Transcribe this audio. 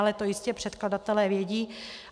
Ale to jistě předkladatelé vědí.